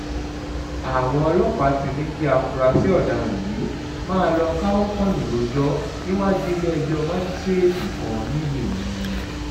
àwọn ọlọ́pàá ti ní kí àfúráṣí ọ̀daràn yìí máa lọ́ọ́ káwọ́ pọ́nyìn rojọ́ níwájú ilé-ẹjọ́ májísíréètì kan ńlùú ìlọrin